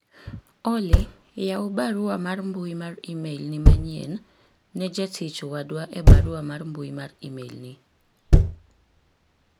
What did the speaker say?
Olly yaw barua mar mbui mar email ni manyien ne jatich wadwa e barua mar mbui mar email ni